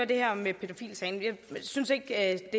det her med pædofilisagen jeg synes ikke at